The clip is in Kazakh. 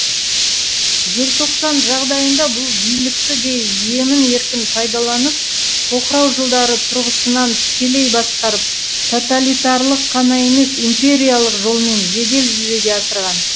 желтоқсан жағдайында бұл билікті де емін еркін пайдаланып тоқырау жылдары тұрғысынан тікелей басқарып тоталитарлық қана емес империялық жолмен жедел жүзеге асырған